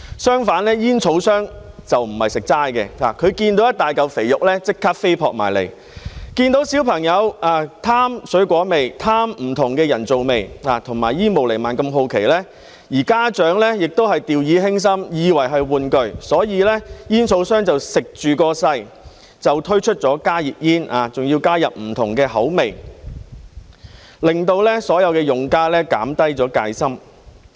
相反，煙草商不是吃素的，他們見到一大塊肥肉便立即飛撲過來，見到小朋友貪愛水果味和不同的人造味，以及對煙霧彌漫如此好奇，而家長亦掉以輕心，以為是玩具，於是煙草商便乘勢推出加熱煙，還加入不同的口味，令到所有用家減低了戒心。